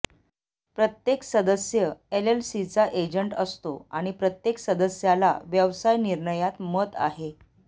प्रत्येक सदस्य एलएलसीचा एजंट असतो आणि प्रत्येक सदस्याला व्यवसाय निर्णयात मत आहे